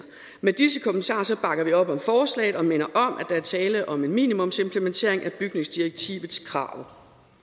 med disse kommentarer bakker vi op om forslaget og minder om at der er tale om en minimumsimplementering af bygningsdirektivets krav